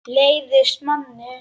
Leiðist manni?